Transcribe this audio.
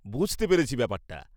-বুঝতে পেরেছি ব্যাপারটা।